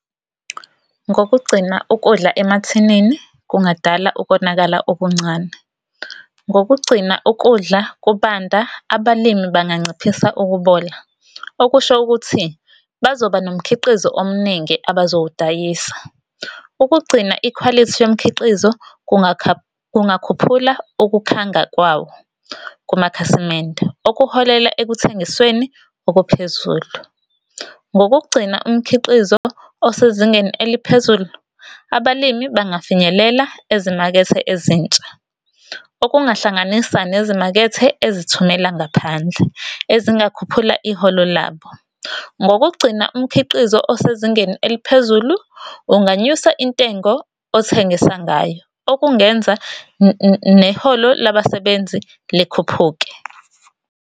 Ngokugcina ukudla emathinini kungadala ukonakala okuncane. Ngokugcina ukudla kubanda abalimi banganciphisa ukubola. Okusho ukuthi bazoba nomkhiqizo omningi abazowudayisa. Ukugcina ikhwalithi yomkhiqizo kungakhuphula ukukhanga kwawo kumakhasimende. Okuholela ekuthengisweni okuphezulu. Ngokugcina umkhiqizo osezingeni eliphezulu, abalimi bangafinyelela ezimakethe ezintsha, okuhlanganisa nezimakethe ezithumela ngaphandle ezingakhuphula iholo labo. Ngokugcina umkhiqizo osezingeni eliphezulu, unganyusa intengo othengisa ngayo okungenza neholo labasebenzi likhuphuke.